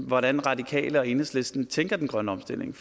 hvordan radikale og enhedslisten tænker den grønne omstilling